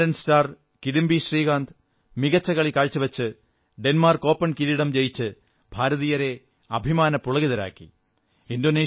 badminton star Kidambi Srikanth മികച്ച കളി കാഴ്ചവച്ച് ഡെൻമാർക്ക് ഓപ്പൺ കിരീടം ജയിച്ച് ഭാരതീയരെ അഭിമാനപുളകിതരാക്കി